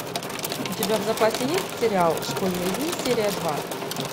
у тебя в запасе есть сериал школьные дни серия два